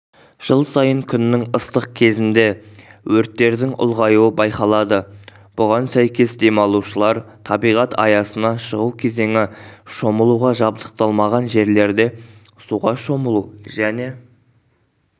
жыл сайын күннің ыстық кезінде өрттердің ұлғаюы байқалады бұған сәйкес демалушылар табиғат аясына шығу кезеңі шомылуға жабдықталмаған жерлерде суға шомылу және